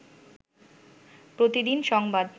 প্রতিদিন সংবাদ